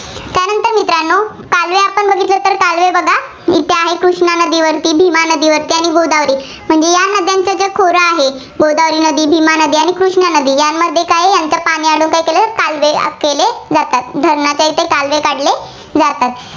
इथं आहे, कृष्णा नदीवरती, भीमा नदीवरती आणि गोदावरी. म्हणजे या नद्यांचे जे खोरं आहे, गोदावरी नदी, भीमा नदी आणि कृष्णा नदी यामध्ये काय? यांचं पाणी अडवून काय केलंय? कालवे जातात. धरणाच्या इथे कालवे काढले जातात.